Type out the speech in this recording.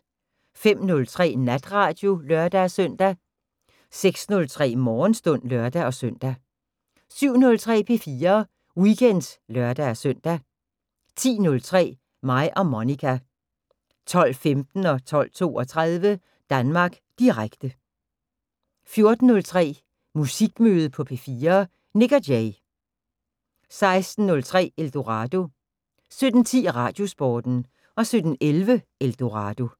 05:03: Natradio (lør-søn) 06:03: Morgenstund (lør-søn) 07:03: P4 Weekend (lør-søn) 10:03: Mig og Monica 12:15: Danmark Direkte 12:32: Danmark Direkte 14:03: Musikmøde på P4: Nik & Jay 16:03: Eldorado 17:10: Radiosporten 17:11: Eldorado